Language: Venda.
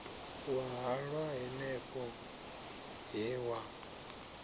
wa halwa hanefho he wa